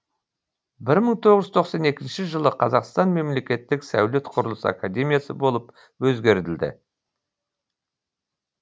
бір мың тоғыз жүз тоқсан екінші жылы қазақ мемлекеттік сәулет құрылыс академиясы болып өзгертілді